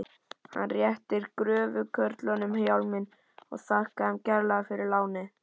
Hann réttir gröfukörlunum hjálminn og þakkar þeim kærlega fyrir lánið.